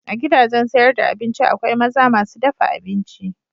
A gidajen sayar da abinci akwai maza masu dafa abinci.